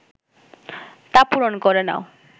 তা পূরণ করে নাও